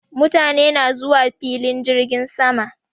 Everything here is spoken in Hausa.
Mutane na zuwafilin jirgin sama